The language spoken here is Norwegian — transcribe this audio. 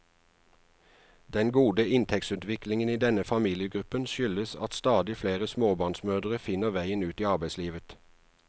Den gode inntektsutviklingen i denne familiegruppen skyldes at stadig flere småbarnsmødre finner veien ut i arbeidslivet.